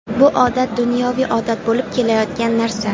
Bu odat dunyoviy odat bo‘lib kelayotgan narsa.